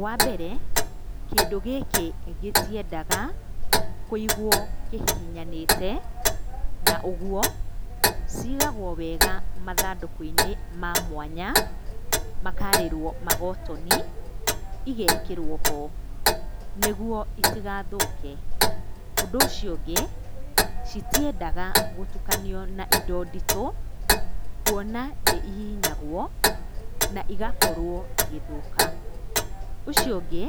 Wa mbere kĩndũ gĩkĩ gĩtiendaga kũigwo kĩhihinyanĩte, na ũguo cigagwo wega mathandũkũ-inĩ ma mwanya makarĩrwo magotoni, igekĩrwo ho nĩguo itigathũke. Ũndũ ũcio ũngĩ, citiendaga gũtukanio na indo nditũ, kuona nĩ ihihinyagwo na igakorwo igĩthũka. Ũcio ũngĩ,